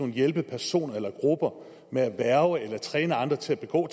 hjælpe personer eller grupper med at værge eller træne andre til at begå